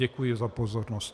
Děkuji za pozornost.